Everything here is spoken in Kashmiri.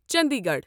چنڈی گڑھ